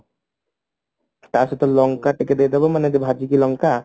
ତାସହିତ ଲଙ୍କା ଟିକେ ଦେଇ ଦେବ ମାନେ ଭାଜିକି ଲଙ୍କା